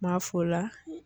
n m'a f'o la